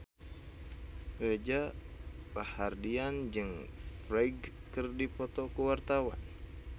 Reza Rahardian jeung Ferdge keur dipoto ku wartawan